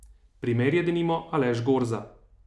Primer je denimo Aleš Gorza.